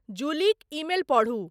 जुलीक email पढू।